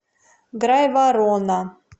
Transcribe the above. грайворона